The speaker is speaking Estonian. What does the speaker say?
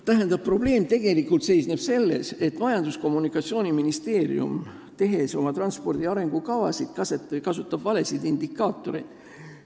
Tähendab, probleem seisneb selles, et Majandus- ja Kommunikatsiooniministeerium kasutab oma transpordi arengukavasid tehes valesid indikaatoreid.